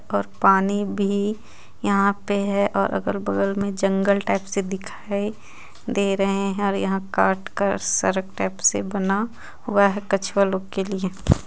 और पानी भी यहाँ पे हे और अलग बगल मे जंगल टाइप से दिखाई दे रहे हे और यहाँ काट कर सरक टाइप से बना हुआ हे कछुआ लोग के लिए.